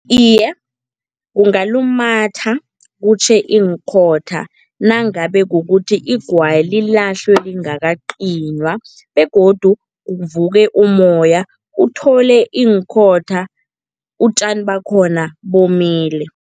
Iye, kungalumatha kutjhe iinkhotha nangabe kukuthi igwayi lilahlwe lingakacinywa begodu kuvuke umoya, uthole iinkhotha utjani bakhona bomile.